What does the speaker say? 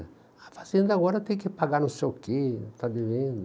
A fazenda agora tem que pagar não sei o quê, está devendo.